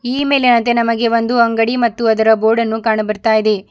ಈ ಮೇಲೆನಂತೆ ನಮಗೆ ಒಂದು ಅಂಗಡಿ ಮತ್ತು ಅದರ ಬೋರ್ಡನ್ನು ಕಾಣ ಬರ್ತಾ ಇದೆ.